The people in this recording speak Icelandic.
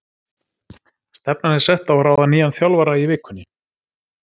Stefnan er sett á að ráða nýjan þjálfara í vikunni.